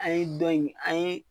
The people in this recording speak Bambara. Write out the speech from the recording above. An ye dɔn in an ye